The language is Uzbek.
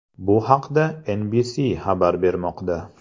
Bu haqda NBC xabar bermoqda .